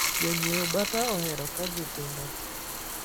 Jonyie bata ohero kagi tindo.